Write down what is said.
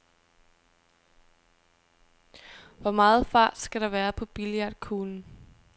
Hvor meget fart skal der være på billiardkuglen?